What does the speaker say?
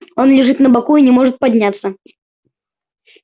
он лежит на боку и не может подняться